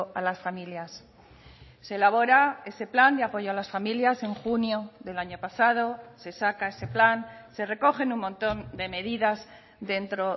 a las familias se elabora ese plan de apoyo a las familias en junio del año pasado se saca ese plan se recogen un montón de medidas dentro